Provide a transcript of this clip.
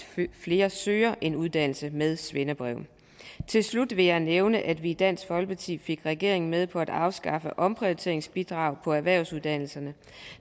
flere søger en uddannelse med svendebrev til slut vil jeg nævne at vi i dansk folkeparti fik regeringen med på at afskaffe omprioriteringsbidraget på erhvervsuddannelserne